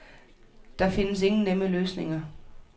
Der findes ingen nemme løsninger.